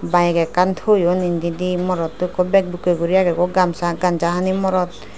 bike ekkan toyon indidi morotto ikko bag bukke guri agegoi gamsa ganja hani morot.